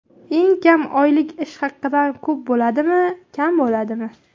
Eng kam oylik ish haqidan ko‘p bo‘ladimi, kam bo‘ladimi?